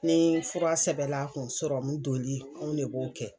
Ni fura sɛbɛla a kun sɔrɔmun doli anw ne b'o kɛ.